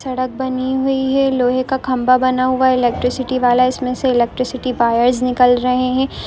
सड़क बनी हुई है लोहे का खंबा बना हुआ है इलेक्ट्रिसिटी वाला इसमें से इलेक्ट्रिसिटी वायरस निकल रहे हैं। ]